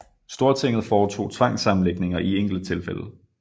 Stortinget foretog tvangssammenlægninger i enkelte tilfælde